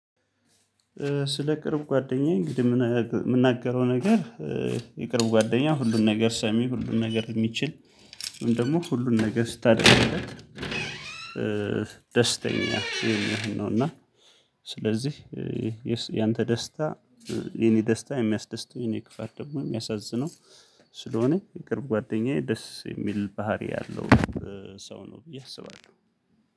ስለ ቅርብ ጓደኛዬ እንግዲህ የምናገረው ነገር የቅርብ ጓደኛ ሁሉን ነገር ሰሚ ሁሉን ነገር የሚችል ደግሞ ሁሉን ነገር ስታደርግለት ደስተኛ የሚሆን ነው እና ስለዚህ ያንተ ደስታ የኔ ደስታ የሚያስደስተኝ የኔ ክፋት ደግሞ የሚያሳዝነው ስለሆነ የቅርብ ጓደኛዬ ደስ የሚል ባህሪ ያለው ሰው ነው ብየ አስባለሁ።